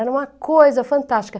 Era uma coisa fantástica.